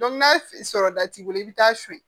n'a sɔrɔ da t'i bolo i bɛ taa suyɛn